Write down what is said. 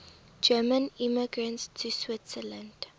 german immigrants to switzerland